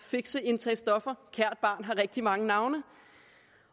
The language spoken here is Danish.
fikse indtage stoffer kært barn har rigtig mange navne